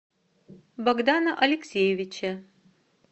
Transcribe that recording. богдана алексеевича